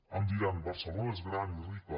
em diran barcelona és gran i rica